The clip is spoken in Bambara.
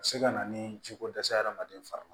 A bɛ se ka na ni jiko dɛsɛ ye hadamaden farima